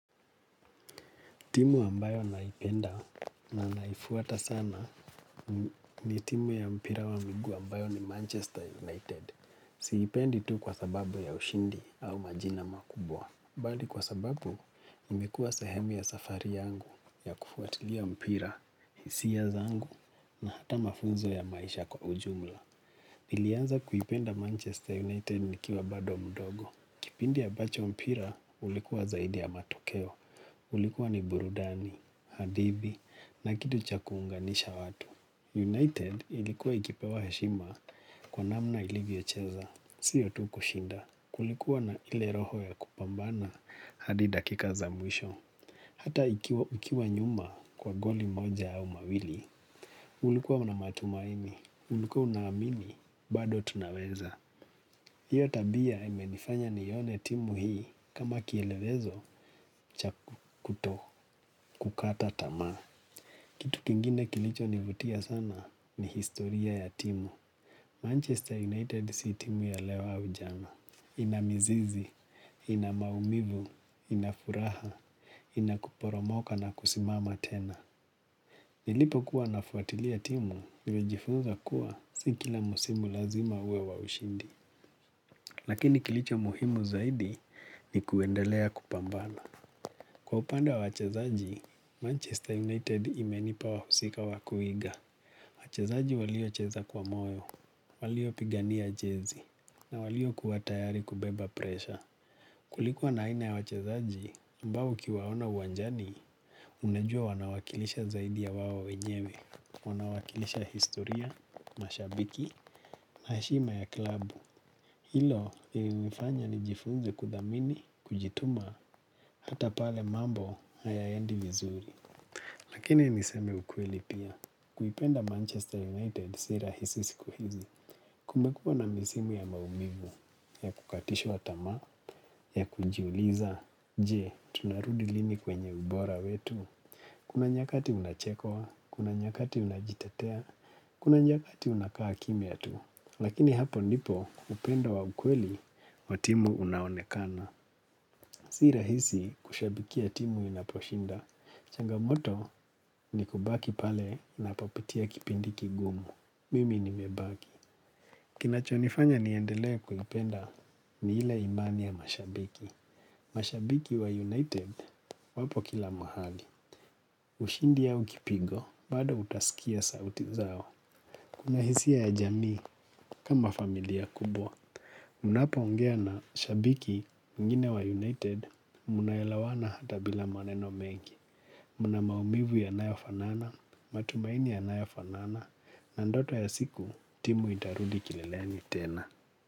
Timu ambayo naipenda na naifuata sana ni timu ya mpira wa miguu ambayo ni Manchester United. Siipendi tu kwa sababu ya ushindi au majina makubwa. Bali kwa sababu imekua sehemu ya safari yangu ya kufuatilia mpira, hisia zangu na hata mafunzo ya maisha kwa ujumla. Nilianza kuipenda Manchester United ni kiwa bado mdogo. Kipindi abacho mpira ulikuwa zaidi ya matokeo. Ulikuwa ni Burudani, Hadithu na kitu cha kuunganisha watu. United ilikuwa ikipewa heshima kwa namna ilivyo cheza. Sio tu kushinda. Kulikuwa na ile roho ya kupambana hadi dakika za mwisho. Hata ikiwa nyuma kwa goli moja au mawili. Ulikuwa unamatumaini. Ulikuwa unaamini, bado tunaweza. Hiyo tabia imenifanya nione timu hii kama kielewezo chaku kuto kukata tama. Kitu kingine kilicho nivutia sana ni historia ya timu. Manchester United si timu ya leo au jana. Inamizizi, inamaumivu, inafuraha, inakuporomoka na kusimama tena. Nilipo kuwa nafuatilia timu, nilijifunza kuwa sikila musimu lazima uwe wa ushindi. Lakini kilicho muhimu zaidi ni kuendelea kupambana. Kwa upande wa wachezaji, Manchester United imenipa wahusika wakuiga. Wachezaji walio cheza kwa moyo, walio pigania jezi, na walio kuwatayari kubeba presha. Kulikuwa na wina ya wachezaji, ambao ukiwaona uwanjani, unajua wanawakilisha zaidi ya waao wenyewe, wanawakilisha historia, mashabiki, na heshima ya klabu. Hilo lili nifanya nijifunze kudhamini, kujituma, hata pale mambo haya endi vizuri. Lakini ni seme ukweli pia. Kuipenda Manchester United si rahisi siku hizi. Kumekua na misimu ya maumivu ya kukatishwa tamaa, ya kujiuliza. Je, tunarudi lini kwenye ubora wetu. Kuna nyakati unachekwa, kuna nyakati unajitetea, kuna nyakati unakaa kimya tu. Lakini hapo nipo upendo wa ukweli wa timu unaonekana. Sira hisi kushabikia timu inaposhinda. Changamoto ni kubaki pale napopitia kipindi kigumu. Mimi nimebaki. Kinachonifanya niendelea kuipenda ni ile imani ya mashabiki. Mashabiki wa United wapo kila mahali. Ushindi au kipigo, bado utasikia sauti zao. Kuna hisia ya jamii kama familia kubwa. Mnapo ongea na shabiki mwingine wa United, muna elawana hata bila maneno mengi. Muna maumivu yanayofanana, matumaini yanayofanana, na ndoto ya siku timu itarudi kileleni tena.